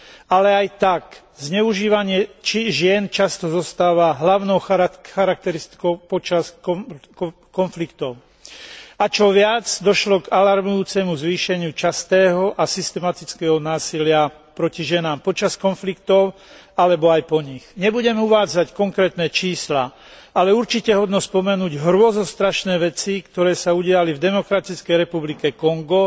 Ale aj tak zneužívanie žien často zostáva hlavnou charakteristikou počas konfliktov. A čo viac, došlo k alarmujúcemu zvýšeniu častého a systematického násilia proti ženám počas konfliktov alebo aj po nich. Nebudem uvádzať konkrétne čísla, ale určite hodno spomenúť hrôzostrašné veci, ktoré sa udiali v Demokratickej republike Kongo,